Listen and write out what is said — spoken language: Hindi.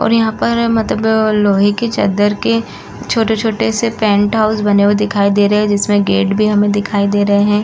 और यहाँ पर मतलब लोहे के चदर के छोटे-छोटे से टेंट हाउस बने हुए दिखाई दे रहे हैं। जिसमे गेट भी हमे बने हुए दिखाई दे रहे हैं।